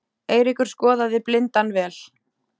Eiríkur skoðaði blindan vel.